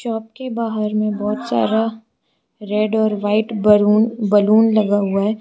Shop के बाहर में बहोत सारा रेड और व्हाइट बलून बलून लगा हुआ है।